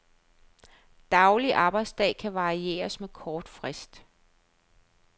Daglig arbejdsdag kan varieres med kort frist.